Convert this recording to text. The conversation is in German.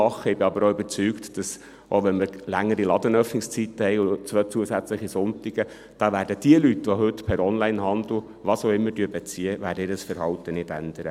Ich bin aber auch überzeugt, auch wenn wir längere Ladenöffnungszeiten und zwei zusätzliche Sonntage haben, werden jene Leute, die heute per Onlinehandel was auch immer beziehen, ihr Verhalten nicht ändern.